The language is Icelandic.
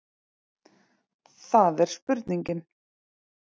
Það er spurningin.